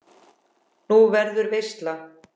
Nú, verður veisla?